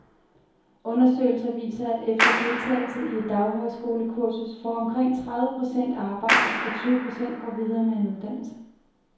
Undersøgelser viser, at efter deltagelse i et daghøjskolekursus får omkring tredive procent arbejde, og tyve procent går videre med en uddannelse.